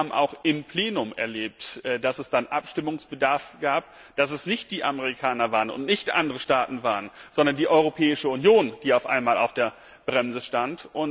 Wir haben auch im Plenum erlebt, dass es dann Abstimmungsbedarf gab, dass es nicht die Amerikaner und nicht andere Staaten waren, sondern die Europäische Union, die auf einmal auf der Bremse stand.